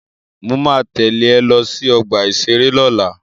Mo ma tẹ́lẹ̀ ẹ lọ sí ọgbà-ìṣeré lọ́la